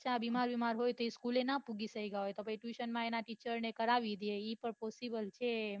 બચ્ચા બીમાર વિમાર હોય તો school લે ન પોહચી સકાય પહી tuition માં એના teacher ને કરાવી દઈ એ પન possible છે